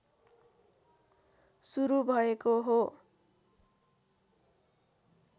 सुरु भएको हो